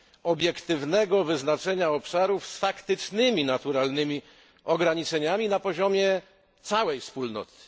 obiektywnego wyznaczenia obszarów z faktycznymi naturalnymi ograniczeniami na poziomie całej Wspólnoty.